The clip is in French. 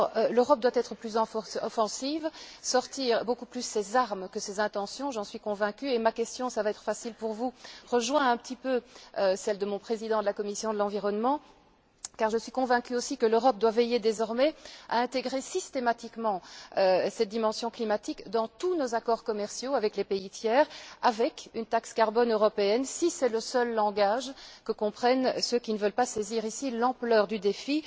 L'Europe doit être plus offensive, sortir beaucoup plus ses armes que ses intentions, j'en suis convaincue. Ma question, qui va être facile pour vous, rejoint un peu celle de mon président de la commission de l'environnement, car je suis aussi convaincue que l'Europe doit veiller désormais à intégrer systématiquement cette dimension climatique dans tous ses accords commerciaux avec les pays tiers, avec une taxe carbone européenne si c'est le seul langage que comprennent ceux qui ne veulent pas saisir l'ampleur du défi.